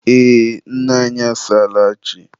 Ee, nne anyị asaala chi.